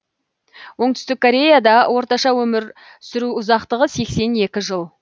оңтүстік кореяда орташа өмір сүру ұзақтығы сексен екі жыл